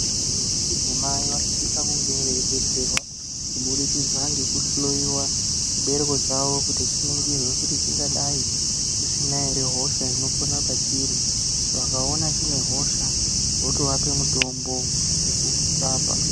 Vantu vechidzimai vanosisa kunge veidetserwa kubudikidza ngekuhloyiwa chibereko chawo kuningirwe kuti chingadai chisina ere hosha inopona pachiri vakaona chine hosha votovape mutombo wekuchirapa.